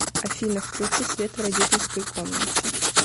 афина включи свет в родительской комнате